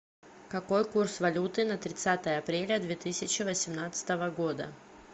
какой курс валюты на тридцатое апреля две тысячи восемнадцатого года